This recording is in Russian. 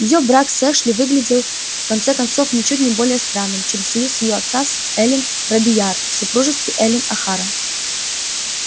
её брак с эшли выглядел в конце концов ничуть не более странным чем союз её отца с эллин робийяр в супружестве эллин охара